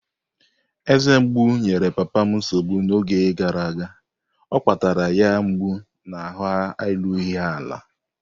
Eze mgbu enyere papa m nsogbu n'oge gara aga, o akpatara ya mgbu na ahụ erughị ala.